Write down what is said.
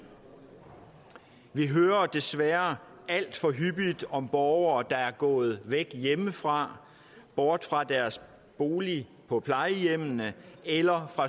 vi hører desværre alt for hyppigt om borgere der er gået væk hjemmefra bort fra deres bolig på plejehjem eller